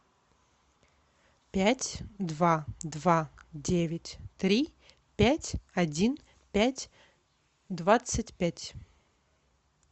пять два два девять три пять один пять двадцать пять